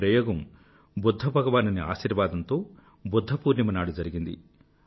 ఈ ప్రయోగం బుధ్ధ భగవానుని ఆశీర్వాదంతో బుధ్ధ పూర్ణిమ నాడు జరిగింది